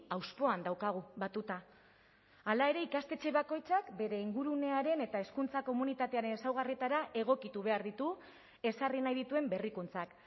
hauspoan daukagu batuta hala ere ikastetxe bakoitzak bere ingurunearen eta hezkuntza komunitatearen ezaugarrietara egokitu behar ditu ezarri nahi dituen berrikuntzak